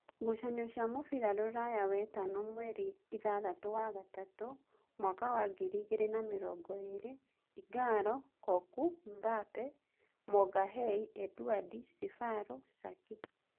Ngucanio cia mũbira Ruraya Wetano mweri ithathatũ wa gatatu mwaka wa ngiri igĩrĩ na mĩrongoĩrĩ: Ingalo, Koku, Mbabe, Magahei, Eduadi, Cebalo, Caki